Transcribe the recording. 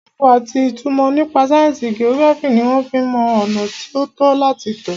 Máàpù àti ìmọ̀ nípa sáyẹnsì geography ní wọ́n fí ń mọ ọ̀nà tí o tọ́ láti tọ̀.